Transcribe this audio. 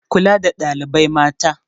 Kula da ɗalibai mata